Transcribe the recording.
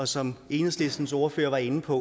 som enhedslistens ordfører var inde på